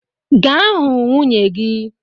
Gaa hụ nwunye gị!